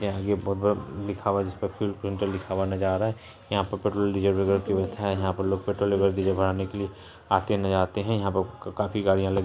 ये आगे बहुत बड़ा लिखा हुआ है जिसपे फ्यूल पेट्रोल लिखा हुआ नज़र आ रहा है यहाँ पे पेट्रोल डीजल यहाँ पे काफी गाड़िया लेके।